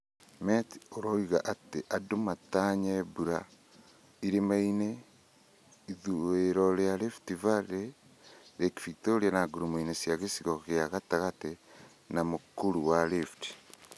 Met uroiga atĩ and matanye mbura irĩmainĩ ,ithũiro ria rift valley, lake victoria na ngurumo na gĩcigo gĩa gatagatĩ wa m ũk ũr ũ wa rift